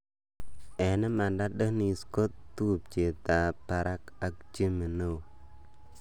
Eng' imaanda Dennis ko tupcheet ap Baraka ak jimmy neoo.